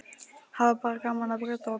Hafa bara gaman af að brjóta og bramla.